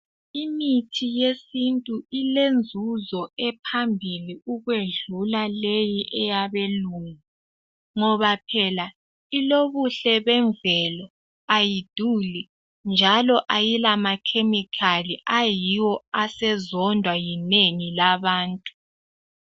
Imithi yesintu ilenzuzo ephambili ukwedlula leyi eyabelungu ngoba phela ilobuhle bemvelo, ayiduli njalo ayilamakhemikhali ayiwo asezondwa yinengi labantu.